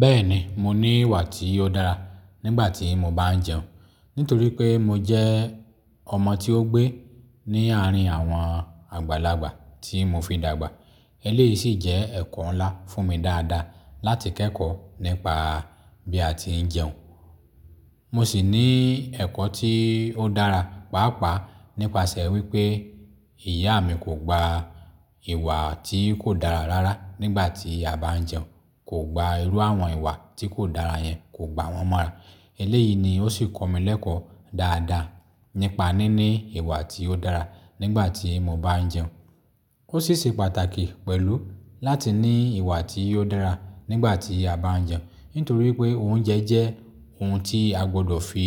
Bẹ́ẹ̀ni, mo ní ìwà tí ó dára nígbà tí mo bá ń jẹun, nítorí pé mo jẹ́ ọmọ tí ó gbé ní àárín àwọn àgbàlagbà tí mo fi dàgbà. Eléyìí sì jẹ́ ẹ̀kọ́ ńlá fún mi dáadáa láti kẹ́kọ̀ọ́ nípa bí a ti ń jẹun. Mo sì ní ẹ̀kọ́ tí ó dára, pàápàá nípasẹ̀ wípé ìyá mi kò gba ìwà tí kò dára rárá nígbà tí a bá ń jẹun, kò gba irú àwọn ìwà tí kò dára yẹn, kò gba wọn mọ́ra. Eléyìí ni ó sì kọ́ mi lẹ́kọ̀ọ́ dáadáa nípa níní ìwà tí ó dára nígbà tí mo bá ń jẹun. Ó sì ṣe pàtàkì pẹ̀lú láti ní ìwà tí ó dára nígbà tí a bá ń jẹun, nítorí pé oúnjẹ jẹ́ ohun tí a gbọ́dọ̀ fi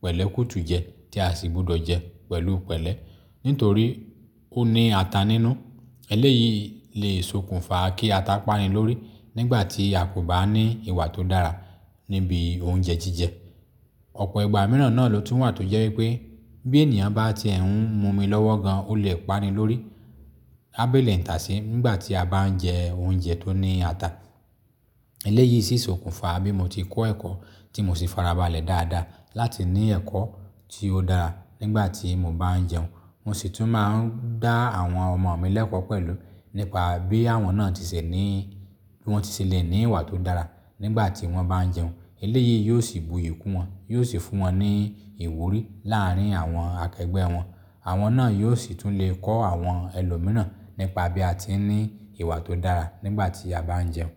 pẹ̀lẹ́ kú tu jẹ, tí a sì gbudọ̀ jẹ pẹ̀lú pẹ̀lẹ́, nítorí ó ní ata nínú. Eléyìí lè sokùnfa kí ata pani lórí nígbà tí a kò bá ní ìwà tó dára níbi oúnjẹ jíjẹ. Ọ̀pọ̀ ìgbà mìíràn náà ló tún wà tó jẹ́ wípé bí ènìyàn bá ti ẹ̀ n mu omi lọ́wọ́ gan, ó lè pani lórí, á bélé ń taase nígbà tí a bá ń jẹ oúnjẹ tó ní ata. Eléyìí sì sokùnfa bí mo ti kọ́ ẹ̀kọ́ tí mo sì fara balẹ̀ dáadáa láti ní ẹ̀kọ́ tí ó dáa nígbà tí mo bá ń jẹun. Mo sì tún máa ń dá àwọn ọmọ mi lẹ́kọ̀ọ́ pẹ̀lú nípa bí àwọn náà ti ṣẹ ní, bí wọ́n ti ṣẹ lẹ̀ ní ìwà tó dára nígbà tí wọ́n bá ń jẹun. Eléyìí yóò sì buyì kún wọn, yóò sì fún wọn ní ìwúrí làárín àwọn akẹgbẹ́ wọn. Àwọn náà yóò sì tún lè kọ́ àwọn ẹlòmíràn nípa bí a ti ń ní ìwà tó dára nígbà tí a bá ń jẹun.